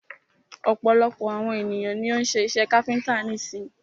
Ọ̀pọ̀lọpọ̀ àwon ènìyàn ni o ń́ ṣe iṣẹ káfíńńtà nísin.